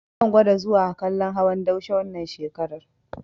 Zan gwada zuwa kallon hawan daushe wannan shekarar.